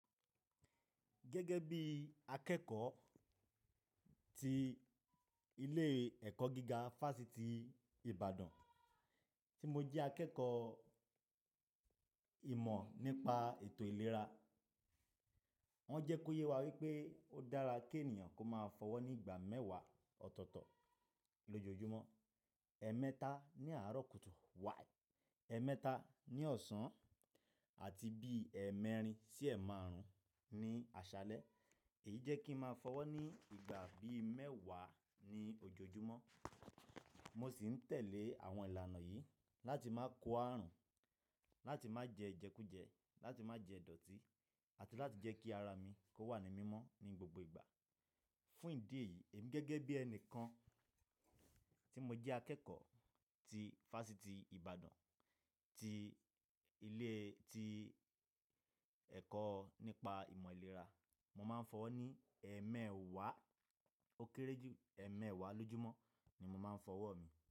Gẹ́gẹ́ bí akẹ́kọ̀ọ́ tí ilé ẹ̀kọ́ gíga Fásitì Ibadan, tí mo jẹ́ akẹ́kọ̀ọ́ ìmọ̀ nípa ètò ìlera, wọ́n jẹ́ kó yé wa wípé ó dára kí ènìyàn kó máa fọwọ́ ní ìgbà mẹ́wàá ọ̀tọ̀ọ̀tọ̀ lójoojúmọ́, ẹ̀ẹ̀mẹ́ta ní àárọ̀ kùtù, wáì, ẹ̀ẹ̀mẹ́ta ní ọ̀sán, àti bí i ẹ́ẹ̀mẹ́rin sí ẹ́ẹ̀márùn ní àṣálẹ́. Èyí jẹ́ kí ń máa fọwọ́ ní ìgbà bí i mẹ́wàá ní ojoojúmọ́. Mo sì ń tẹ̀lé àwọn ìlànà yìí láti má ko ààrùn, láti má jẹ́ ijẹ́kújẹ́, láti má jẹ́ ìdọ̀tí àti láti jẹ́ kí ara mi kó wà ní mímọ́ ní gbogbo ìgbà. Fún ìdí èyí, èmi gẹ́gẹ́ bí ẹnìkan tí mo jẹ́ akẹ́kọ̀ọ́ ti Fásitì Ibadan, ti ilé, ti ẹ̀kọ́ nípa ìmọ̀ ìlera, mo máa ń fọwọ́ ní ẹ́ẹ̀mẹ́wàá ó kéré jù ẹ́ẹ̀mẹ́wàá lójúmọ́ ni mo máa ń fọwọ́ mi.